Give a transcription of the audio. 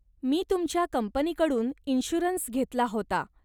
मी तुमच्या कंपनीकडून इन्शुअरन्स घेतला होता.